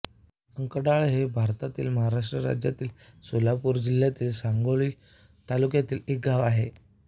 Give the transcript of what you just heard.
अंकढाळ हे भारतातील महाराष्ट्र राज्यातील सोलापूर जिल्ह्यातील सांगोला तालुक्यातील एक गाव आहे